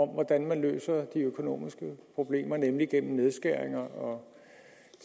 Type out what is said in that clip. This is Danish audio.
hvordan man løser de økonomiske problemer nemlig gennem nedskæringer og